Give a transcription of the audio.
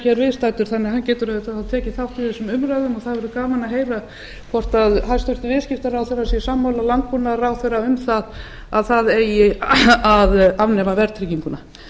hér viðstaddur og hann getur auðvitað tekið þátt í þessum umræðum og það verður gaman að heyra hvort hæstvirtur viðskiptaráðherra sé sammála landbúnaðarráðherra um að það eigi að afnema verðtrygginguna